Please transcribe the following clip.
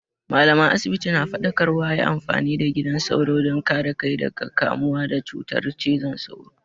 Mallaman asibiti na faɗakarwa a yi amfani da gidan sauro don kare kai daga kamuwa da cutar cizon sauro.